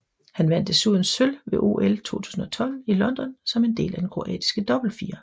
Han vandt desuden sølv ved OL 2012 i London som del af den kroatiske dobbeltfirer